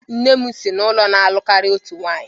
Nne m si n'ụlọ na-alụ karịa otu nwanyị.